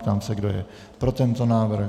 Ptám se, kdo je pro tento návrh.